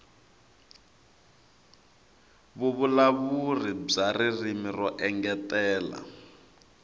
vuvulavuri bya ririmi ro engetela